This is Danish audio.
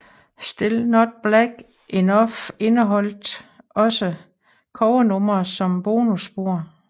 Still Not Black Enough indeholdte også covernumre som bonusspor